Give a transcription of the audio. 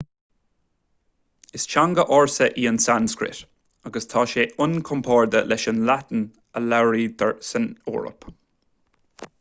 is teanga ársa í an tsanscrait agus tá sí inchomparáide leis an laidin a labhraítear san eoraip